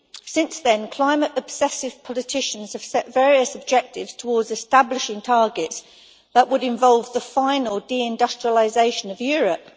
Since then, climate obsessive politicians have set various objectives towards establishing targets that would involve the final deindustrialisation of Europe.